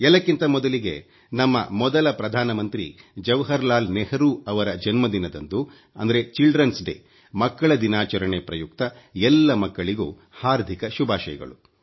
ಎಲ್ಲಕ್ಕಿಂತ ಮೊದಲಿಗೆ ನಮ್ಮ ಮೊದಲ ಪ್ರಧಾನಮಂತ್ರಿ ಜವಾಹರ್ ಲಾಲ್ ನೆಹರು ಅವರ ಜನ್ಮದಿನದಂದು ಚಿಲ್ದೆರ್ನ್ ಡೇ ಮಕ್ಕಳ ದಿನಾಚರಣೆ ಪ್ರಯುಕ್ತ ಎಲ್ಲ ಮಕ್ಕಳಿಗೂ ಹಾರ್ದಿಕ ಶುಭಾಷಯಗಳು